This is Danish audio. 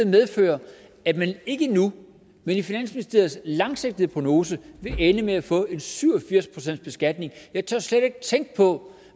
medføre at man ikke nu men i finansministeriets langsigtede prognose vil ende med at få en syv og firs procentsbeskatning jeg tør slet ikke tænke på